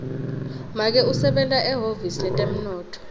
make usebenta ehhovisi letemnotfo